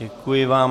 Děkuji vám.